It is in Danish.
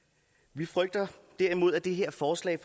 vi frygter derimod at det her forslag